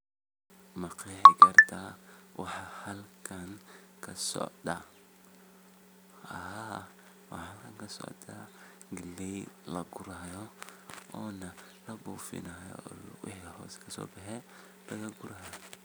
ma qeexi karta waxa halkaan kasocda? haa waxa halkaan kasocda Galey la guraayo oona la buufinaayo waxa lugaheeda hoosteda kaso baxey laga gurayo